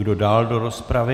Kdo dál do rozpravy?